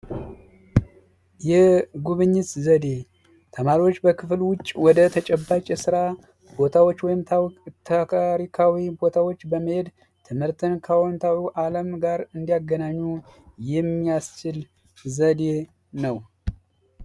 የጉብኝት ዘዴ ተማሪዎች በክፈሉ ውጪ ወደ ተጨባጭ ስራ ቦታዎች ወይም ቦታዎች በመሄድ ትምህርት ዓለም ጋር እንዲያገናኙ የሚያስችል ዘዴ ነው